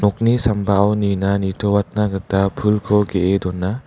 nokni sambao nina nitoatna gita pulko ge·e dona.